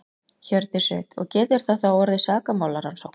Hjördís Rut: Og getur það þá orðið sakamálarannsókn?